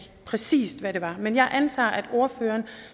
præcis hvad det var men jeg antager at ordføreren